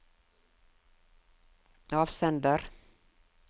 avsender